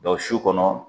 su kɔnɔ